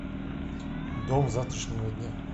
дом завтрашнего дня